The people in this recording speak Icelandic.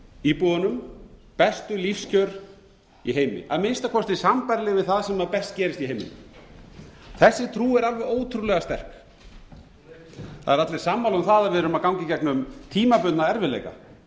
íbúunum bestu lífskjör í heimi að minnsta kosti sambærileg við það sem best gerist í heiminum þessi trú er alveg ótrúlega sterk það eru allir sammála um það að við erum að ganga í gegnum tímabundna erfiðleika